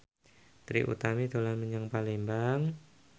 Trie Utami dolan menyang Palembang